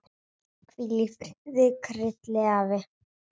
Hvíl í friði, Krilli afi.